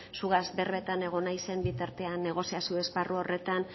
zugaz berbetan egon naizen bitartean negoziazio esparru horretan